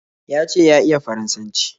Ya ce ya iya Faransanci